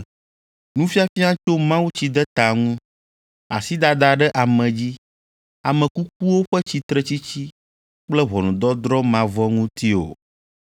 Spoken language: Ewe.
nufiafia tso mawutsideta ŋu, asidada ɖe ame dzi, ame kukuwo ƒe tsitretsitsi kple ʋɔnudɔdrɔ̃ mavɔ ŋuti o.